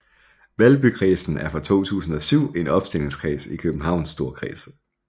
Valbykredsen er fra 2007 en opstillingskreds i Københavns Storkreds